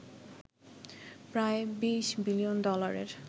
প্রায় ২০ বিলিয়ন ডলারের